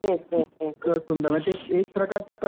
इतकं सुंदर म्हणजे ते एक प्रकारचं कसबच असायचं.